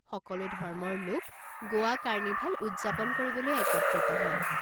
সকলো ধৰ্মৰ লোক গোৱা কাৰ্নিভেল উদযাপন কৰিবলৈ একত্ৰিত হয়।